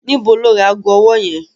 Níbo ló ra ago ọwọ́ yẹn?